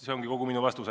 See ongi kogu minu vastus.